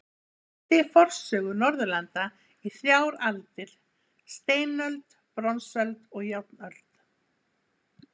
Hann skipti forsögu Norðurlanda í þrjár aldir: steinöld, bronsöld og járnöld.